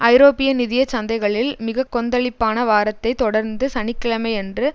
ஐரோப்பிய நிதிய சந்தைகளில் மிக கொந்தளிப்பான வாரத்தை தொடர்ந்து சனி கிழமையன்று